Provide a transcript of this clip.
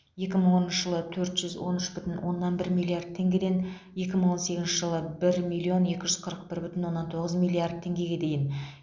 екі мың оныншы жылы төрт жүз он үш бүтін оннан бір миллард теңгеден екі мың он сегізінші жылы бір миллион екі жүз қырық бір бүтін оннан тоғыз миллиард теңгеге дейін